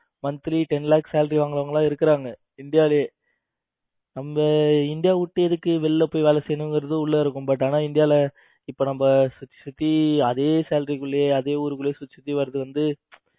monthly ten lak salary வாங்குறவங்க எல்லாம் இருக்குறாங்க இந்தியாவிலேயே. நம்ம இந்தியா விட்டு எதுக்கு வெளியே வேலை செய்யணுங்குறது உள்ளே இருக்கும் but ஆனா இந்தியாவில இப்ப நம்ம சுத்தி அதே salary குள்ளயே அதே ஊருக்குள்ளே சுத்தி சுத்தி வர்றது வந்து